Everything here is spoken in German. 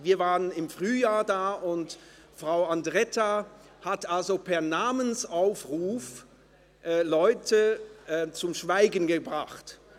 Wir waren im Frühjahr dort und Frau Andretta hat Leute per Namensaufruf zum Schweigen gebracht.